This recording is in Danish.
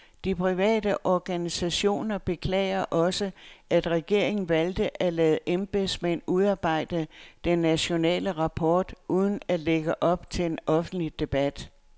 De private organisationer beklager også, at regeringen valgte at lade embedsmænd udarbejde den nationale rapport uden at lægge op til en offentlig debat.